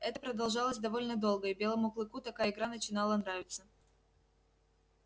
это продолжалось довольно долго и белому клыку такая игра начинала нравиться